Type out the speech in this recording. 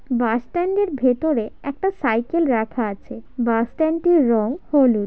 বাস stand এর ভিতরে একটা সাইকেল রাখা আছে বাস স্ট্যান্ডটির রং হলুদ।